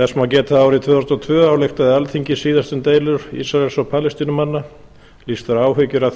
þess má geta að árið tvö þúsund og tvö ályktaði alþingi síðast um deilur ísraels og palestínumanna lýst var áhyggjum af